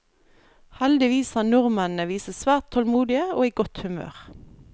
Heldigvis har nordmennene vist seg svært tålmodige og i godt humør.